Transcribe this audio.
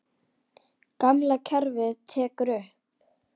Gamla kerfið tekið upp?